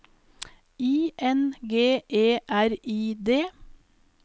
I N G E R I D